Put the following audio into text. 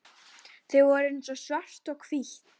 Þau voru eins og svart og hvítt.